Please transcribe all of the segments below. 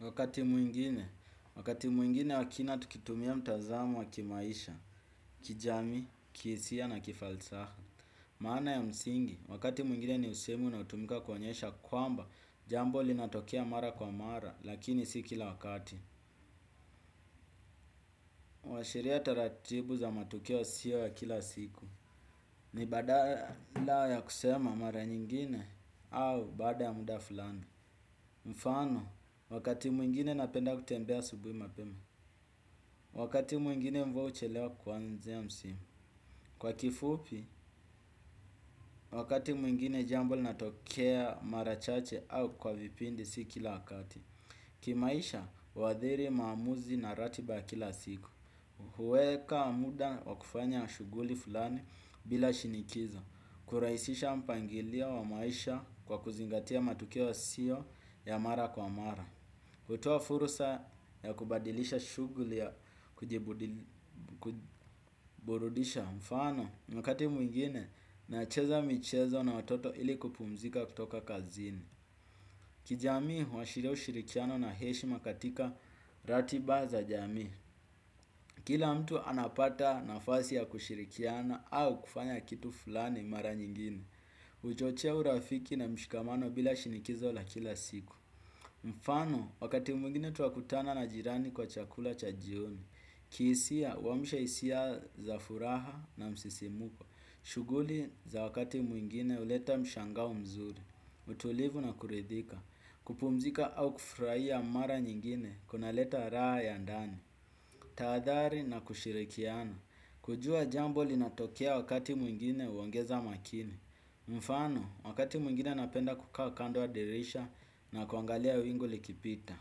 Wakati mwingine, wakati mwingine wakina tukitumia mtazamo wa kimaisha, kijami, kihisia na kifalsaha. Maana ya msingi, wakati mwingine ni usemu unaotumika kuonyesha kwamba jambo linatokea mara kwa mara lakini si kila wakati. Washiria taratibu za matukio yasiyo ya kila siku. Ni badala ya kusema mara nyingine au baada ya muda fulani. Mfano, wakati mwingine napenda kutembea asubuhi mapema. Wakati mwingine mvua huchelewa kuanzia msimu. Kwa kifupi, wakati mwingine jambo lina tokea marachache au kwa vipindi sikila wakati. Kimaisha, huadhiri maamuzi na ratiba ya kila siku. Huweka muda wa kufanya shuguli fulani bila shinikizo. Kurahisisha mpangilio wa maisha kwa kuzingatia matukio yasio ya mara kwa mara. Kutoa furusa ya kubadilisha shuguli ya kujiburudisha mfano. Wakati mwingine na cheza michezo na watoto ili kupumzika kutoka kazini. Kijamii wa shirio shirikiano na heshimakatika ratiba za jamii. Kila mtu anapata nafasi ya kushirikiano au kufanya kitu fulani mara nyingine huchochea urafiki na mshikamano bila shinikizo la kila siku. Mfano, wakati mwingine twakutana na jirani kwa chakula cha jioni. Kihisia, huamusha hisia za furaha na msisimuko. Shuguli za wakati mwingine huleta mshangao mzuri. Utulivu na kuridhika. Kupumzika au kufurahia mara nyingine kuna leta raha ya ndani. Tahadhari na kushirikiana. Kujua jambo linatokea wakati mwingine huongeza makini. Mfano, wakati mwingine napenda kukawa kando ya dirisha na kuangalia wingu likipita.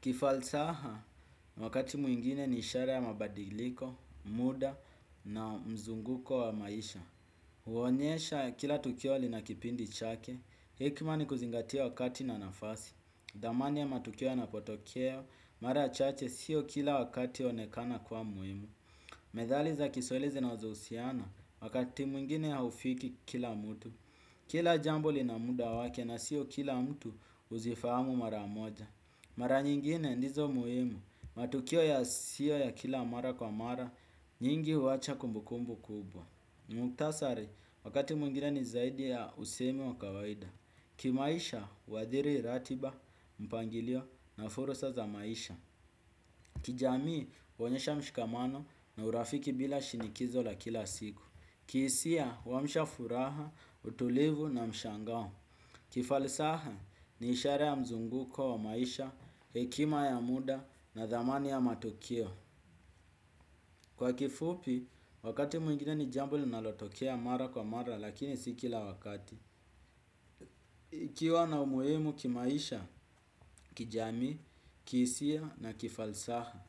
Kifalsaha, wakati mwingine ni ishara ya mabadiliko, muda na mzunguko wa maisha. Huonyesha ya kila tukio linakipindi chake. Hikmani kuzingatia wakati na nafasi. Damani ya matukio ya napotokeo. Mara chache sio kila wakati huonekana kwa muhimu. Medhaliza kiswahili zinazo usiana. Wakati mwingine haufiki kila mtu. Kila jambo linamuda wake na sio kila mtu huzifamu mara moja. Mara nyingine ndizo muhimu. Matukio ya sio ya kila mara kwa mara. Nyingi huwacha kumbukumbu kubwa. Muktasari, wakati mwingine ni zaidi ya usemi wa kawaida. Kimaisha, huadhiri ratiba, mpangilio na fursa za maisha. Kijamii, huonyesha mshikamano na urafiki bila shinikizo la kila siku. Kihisia, huamsha furaha, utulivu na mshangao. Kifalisaha, ni ishara ya mzunguko wa maisha, hekima ya muda na dhamani ya matukio. Kwa kifupi, wakati mwingine ni jambo li nalotokea mara kwa mara lakini sikila wakati. Ikiwa na umuhimu kimaisha, kijami, kihisia na kifalsaha.